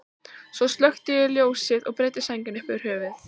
Svo slökkti ég ljósið og breiddi sængina upp fyrir höfuð.